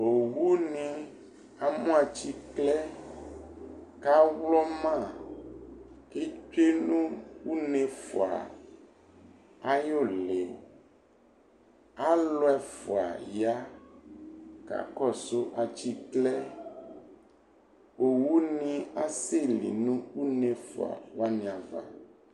Owʊnɩ amʊ atsɩklɛ kʊ awlɔma kʊ etsʊenʊ une ɛfʊa ayʊ ɩlɩ alʊ ɛfʊa ya kakɔsʊ atsɩklɛ owʊnɩ asɛlɩ nʊ une efʊa wanɩ ava